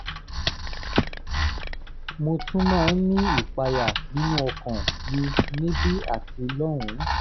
mo tún máa ń ní ìpayà nínú ọkàn mi níbí àti lọ́hùn-ún